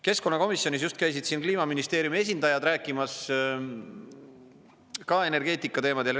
Keskkonnakomisjonis just käisid siin Kliimaministeeriumi esindajad rääkimas ka energeetikateemadel.